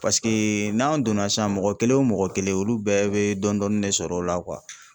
Paseke n'an donna sisan mɔgɔ kelen o mɔgɔ kelen olu bɛɛ bɛ dɔɔni dɔɔni de sɔrɔ o la